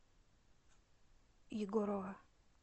егорова